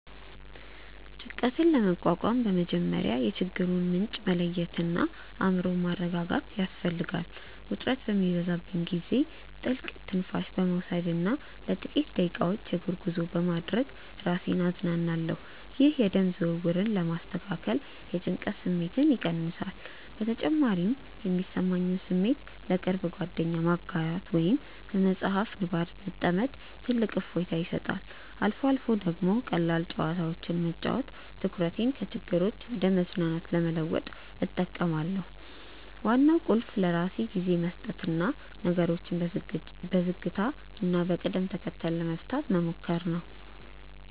ጭንቀትን ለመቋቋም በመጀመሪያ የችግሩን ምንጭ መለየትና አእምሮን ማረጋጋት ያስፈልጋል። ውጥረት በሚበዛብኝ ጊዜ ጥልቅ ትንፋሽ በመውሰድና ለጥቂት ደቂቃዎች የእግር ጉዞ በማድረግ ራሴን አዝናናለሁ። ይህ የደም ዝውውርን በማስተካከል የጭንቀት ስሜትን ይቀንሳል። በተጨማሪም የሚሰማኝን ስሜት ለቅርብ ጓደኛ ማጋራት ወይም በመጽሐፍ ንባብ መጥመድ ትልቅ እፎይታ ይሰጣል። አልፎ አልፎ ደግሞ ቀላል ጨዋታዎችን መጫወት ትኩረቴን ከችግሮች ወደ መዝናናት ለመለወጥ እጠቀማለሁ። ዋናው ቁልፍ ለራስ ጊዜ መስጠትና ነገሮችን በዝግታና በቅደም ተከተል ለመፍታት መሞከር ነው።